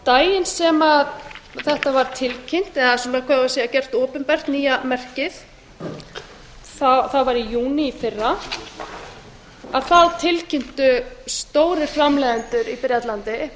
daginn sem þetta var tilkynnt eða hvað eigum við að segja gert opinbert nýja merkið það var í júní í fyrra þá tilkynntu stórir framleiðendur í bretlandi